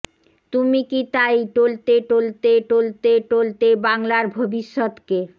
তুমি কি তাই টলতে টলতে টলতে টলতে বাংলার ভবিষ্যৎকে